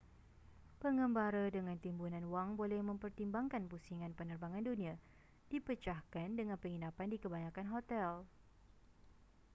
pengembara dengan timbunan wang boleh mempertimbangkan pusingan penerbangan dunia dipecahkan dengan penginapan di kebanyakan hotel